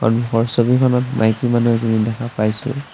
সন্মুখৰ ছবিখনত মাইকী মানুহ এজনী দেখা পাইছোঁ।